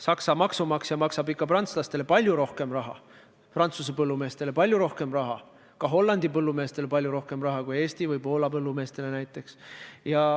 Saksa maksumaksja maksab prantslastele, Prantsuse põllumeestele, samuti Hollandi põllumeestele palju rohkem raha kui näiteks Eesti või Poola põllumeestele.